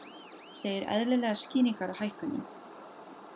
Segir eðlilegar skýringar á hækkunum